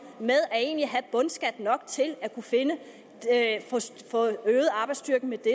med egentlig at have bundskat nok til at kunne få øget arbejdsstyrken med det